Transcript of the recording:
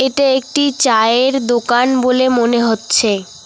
এটা একটি চায়ের দোকান বলে মনে হচ্ছে।